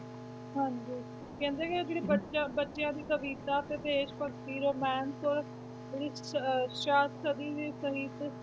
ਹਾਂਜੀ, ਕਹਿੰਦੇ ਕਿ ਜਿਹੜੇ ਬੱਚਾ ਬੱਚਿਆਂ ਦੀ ਕਵਿਤਾ ਤੇ ਦੇਸ ਭਗਤੀ romance ਅਹ ਸਾਹਿਤ